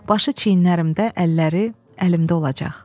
başı çiynlərimdə, əlləri əlimdə olacaq.